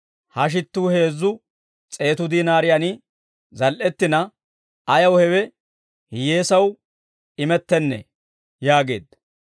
«Ha shittuu heezzu s'eetu diinaariyaani zal"ettina, ayaw hewe hiyyeesaw imettennee?» yaageedda.